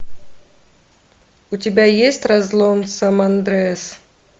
у тебя есть разлом сан андреас